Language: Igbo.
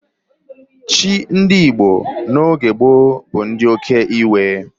Chi ndị Igbo n'oge gboo bụ nke oke iwe.